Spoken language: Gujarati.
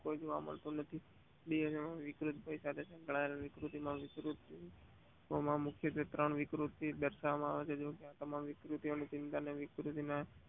જોવા મળતું નથી વિકૃતિ માં પણ મુખ્યત્વે ત્રણ વિકૃતિ દાર્શવે છે. આ તમામ વિકૃતિ નો